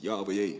Kas jaa või ei?